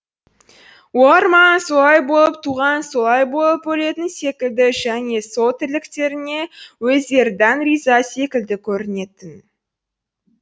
олар маған солай болып туған солай болып өлетін секілді және сол тірліктеріне өздері дән риза секілді көрінетін